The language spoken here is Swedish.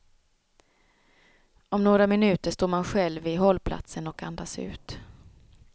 Om några minuter står man själv vid hållplatsen och andas ut.